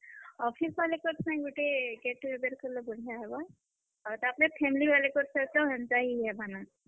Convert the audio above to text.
Office ବାଲେ କର ସାଙ୍ଗେ ଗୁଟେ get together କଲେ ବଢିଆ ହେବା, ତାରପରେ family ବାଲେ କର ସାଙ୍ଗେ ତ ହେନ୍ତା ହି ହେବା ନ।